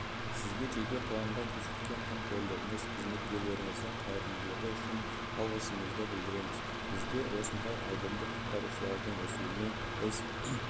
сізге жеке құрамға көрсеткен қамқорлығыңыз қызметкерлеріңіздің қайырымдылығы үшін алғысымызды білдіреміз бізде осындай айбынды құтқарушылардың өсуіне біз